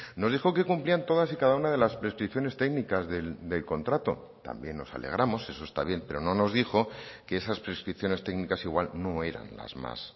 nos dijo que cumplían todas y cada una de las prescripciones técnicas del contrato también nos alegramos eso está bien pero no nos dijo que esas prescripciones técnicas igual no eran las más